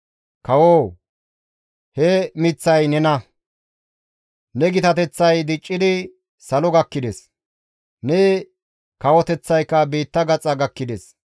«Kawoo! He miththay nena; ne gitateththay diccidi salo gakkides; ne kawoteththayka biitta gaxa gakkides.